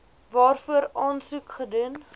waarvoor aansoek gedoen